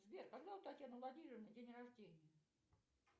сбер когда у татьяны владимировны день рождения